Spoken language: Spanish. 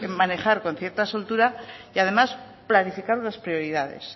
manejar con cierta soltura y además planificar las prioridades